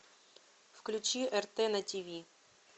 включи рт на тиви